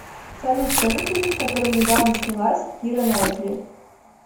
салют скажи фильм в котором недавно снялась кира наитли